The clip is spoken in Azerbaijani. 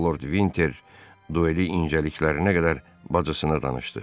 Lord Vinter dueli incəliklərinə qədər bacısına danışdı.